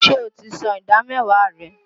Ṣé o ti san ìdá mẹ́wàá rẹ?